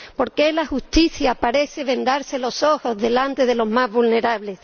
¿Por qué la justicia parece vendarse los ojos delante de los más vulnerables?